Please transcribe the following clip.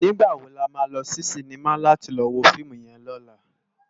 Nigbá wó làmá lò si sinimá làti lò wó fiimú yèn lòlá?